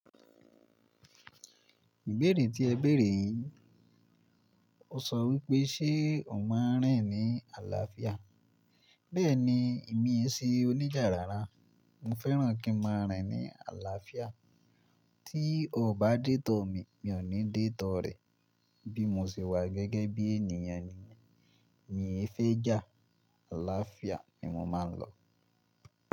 Ìbéèrè tí ẹ béèrè yí, o sọ wípé ṣe o máa rìn ní àlàáfíà? Bẹ́ẹ̀ni, èmi ese oníjà rárá, mo fẹ́ràn kí n máa rìn ní àlàáfíà. Tí o bá dé tọ̀ mi, mi ò ní dé tọ̀ rẹ. Bí mo ṣe wà gẹ́gẹ́ bí ènìyàn nìyẹn, mi fẹ́ jà, àlàáfíà ni mo máa ń lọ.